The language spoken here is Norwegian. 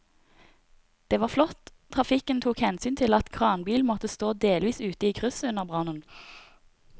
Det var flott at trafikken tok hensyn til at kranbilen måtte stå delvis ute i krysset under brannen.